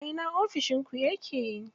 A ina ofishin ku yake?